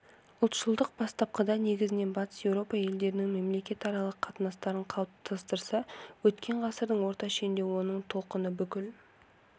ұлтшылдық бастапқыда негізінен батыс еуропа елдерінің мемлекетаралық қатынастарын қалыптастырса өткен ғасырдың орта шенінде оның толқыны бүкіл